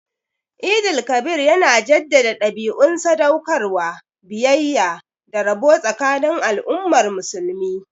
Eid el-Kabir yana jaddada dabi'un sadaukarwa, biyayya, da rabo tsakanin al'ummar musulmi